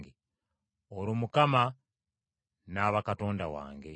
olwo Mukama n’aba Katonda wange.